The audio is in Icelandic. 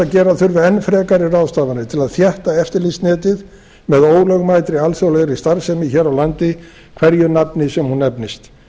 gera þurfi enn frekari ráðstafanir til að þétta eftirlitsnetið með ólögmætri alþjóðlegri starfsemi hér á landi hverju nafni sem hún nefnist